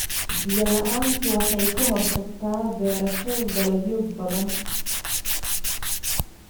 Biyo la'aantu waxay ka hortagtaa beerashada dalagyo badan.